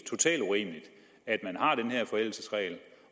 totalt urimeligt at man har den her forældelsesregel